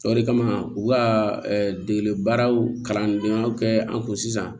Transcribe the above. O de kama u ka degeli baaraw kalan donnaw kɛ an kun sisan